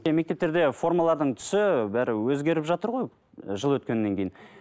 мектептерде формалардың түсі бәрі өзгеріп жатыр ғой ы жыл өткеннен кейін